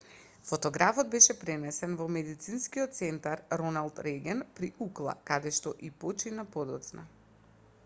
фотографот беше пренесен во медицинскиот центар роналд реган при укла каде што и почина подоцна